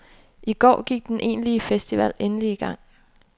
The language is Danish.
I går gik den egentlige festival endelig i gang.